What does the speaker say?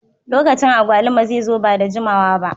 Lokacin agwaluma zai zo ba da jimawa ba.